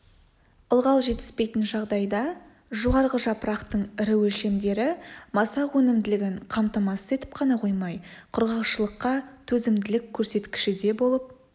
ылғал жетіспейтін жағдайда жоғарғы жапырақтың ірі өлшемдері масақ өнімділігін қамтамасыз етіп қана қоймай құрғақшылыққа төзімділік көрсеткіші де болып